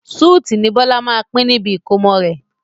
súútì ni Bọlá máa pin níbi ìkómọ rẹ̀